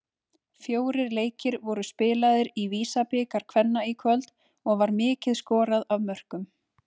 Fjórir leikir voru spilaðir í VISA-bikar kvenna í kvöld og var mikið skorað af mörkum.